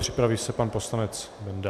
Připraví se pan poslanec Benda.